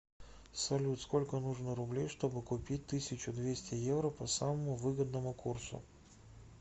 салют сколько нужно рублей чтобы купить тысячу двести евро по самому выгодному курсу